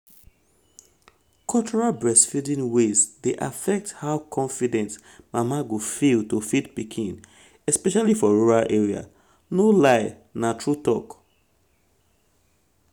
cultural breastfeeding um ways dey affect how um confident mama go feel to feed pikin especially um for rural area. no lie na true talk.